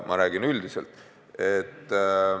Ma räägin üldiselt.